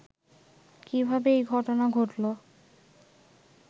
কিভাবে এই ঘটনা ঘটলো